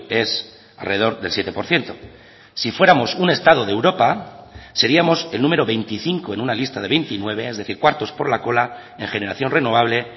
es alrededor del siete por ciento si fuéramos un estado de europa seríamos el número veinticinco en una lista de veintinueve es decir cuartos por la cola en generación renovable